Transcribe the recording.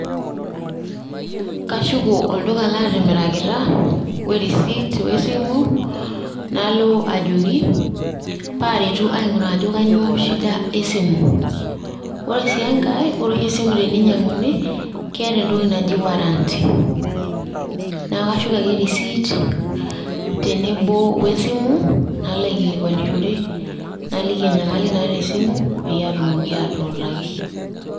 Kashuko olduka latimirakita, we risiit esimu, nalo ajoki paretu aing'uraa ajo kanyioo shida esimu. Ore si enkae, ore oshi esimu teneinyang'uni, keeta entoki naji warranty. Neku kashuk ake risiit, tenebo we simu nalo aikilikwanishore ,naliki enyamali naata esimu peyie atumoki atuutaki.